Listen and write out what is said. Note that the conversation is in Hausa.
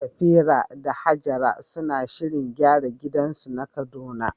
Safira da Hajara suna shirin gyara gidansu na Kaduna.